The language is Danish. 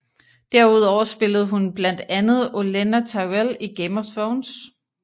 Derudover spillede hun blandt andet Olenna Tyrell i Game of Thrones